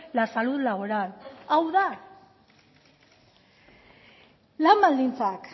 la salud laboral hau da lan baldintzak